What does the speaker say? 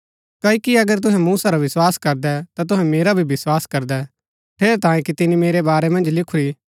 क्ओकि अगर तुहै मूसा रा विस्वास करदै ता तुहै मेरा भी विस्वास करदै ठेरैतांये कि तिनी मेरै बारै मन्ज लिखूरा